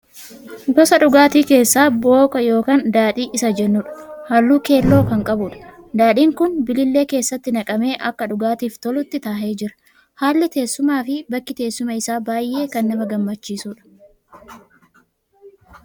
Gosa dhugaatii keessaa booka ykn daadhii Isa jennuudha. Halluu keelloo kan qabuudha. Daadhiin kun bilillee keessatti naqamee akka dhugaatiif tolutti taahee jira. Haalli taahumsaa fi bakki taa'umsa isaa baayy'ee kan nama gammachiisudha.